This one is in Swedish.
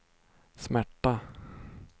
smärta